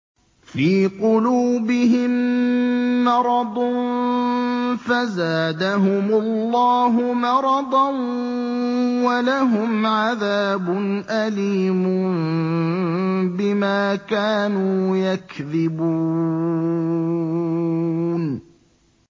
فِي قُلُوبِهِم مَّرَضٌ فَزَادَهُمُ اللَّهُ مَرَضًا ۖ وَلَهُمْ عَذَابٌ أَلِيمٌ بِمَا كَانُوا يَكْذِبُونَ